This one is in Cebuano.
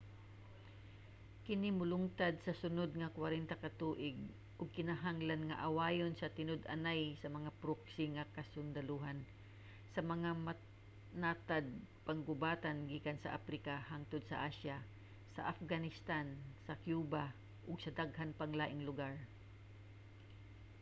kini molungtad sa sunod nga 40 ka tuig ug kinahanglan nga awayon sa tinud-anay sa mga proxy nga kasundalohan sa mga natad-panggubatan gikan sa aprika hangtod sa asya sa afghanistan sa cuba ug daghang pang laing lugar